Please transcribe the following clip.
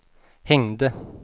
hängde